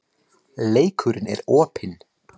Leikurinn er opinn